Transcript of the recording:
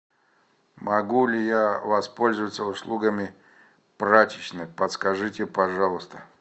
могу ли я воспользоваться услугами прачечной подскажите пожалуйста